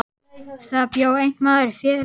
Þar bjó einn maður félítill er Atli hét.